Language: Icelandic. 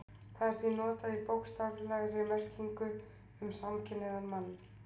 Það er því notað í bókstaflegri merkingu um samkynhneigðan mann.